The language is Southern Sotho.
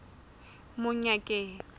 monyakeng